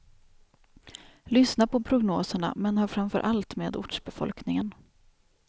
Lyssna på prognoserna men hör framför allt med ortsbefolkningen.